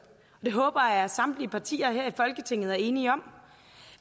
og det håber jeg at samtlige partier her i folketinget er enige om